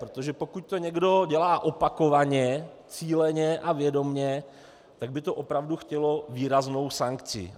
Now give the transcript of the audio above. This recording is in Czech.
Protože pokud to někdo dělá opakovaně, cíleně a vědomě, tak by to opravdu chtělo výraznou sankci.